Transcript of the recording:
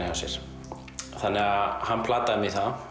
hjá sér þannig að hann plataði mig í það